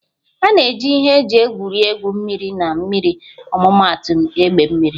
A na-eji ihe eji egwuri egwu mmiri na mmiri ọmụmaatụ egbe mmiri